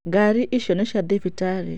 Ngarĩ icio nĩ cĩa thibitarĩ.